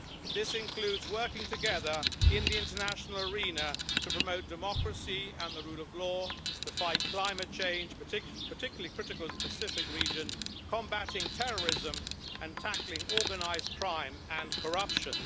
This includes working together in the international arena to promote democracy and the rule of law to fight climate change, particularly critical in the Pacific region, combating terrorism and tackling organised crime and corruption.